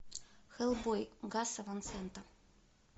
хеллбой гаса ван сента